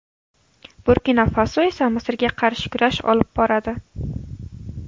Burkina-Faso esa Misrga qarshi kurash olib boradi.